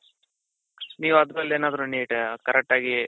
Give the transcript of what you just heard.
ನೀವ್ ಅದ್ರಲ್ಲೇನಾದ್ರು neat correct ಆಗಿ